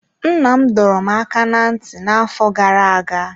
Nna m dọrọ m aka ná ntị n'afọ gara aga.